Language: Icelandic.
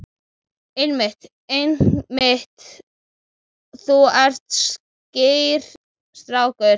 Einmitt, einmitt, þú ert skýr strákur.